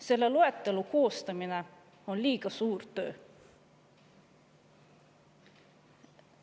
Selle loetelu koostamine on liiga suur töö.